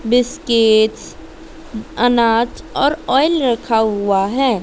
Biscuits अनाज और oil रखा हुआ है।